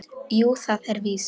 Jú, það er víst.